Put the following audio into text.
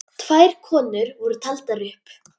Tvær konur voru taldar upp.